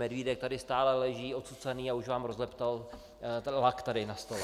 Medvídek tady stále leží ocucaný a už vám rozleptal lak tady na stole.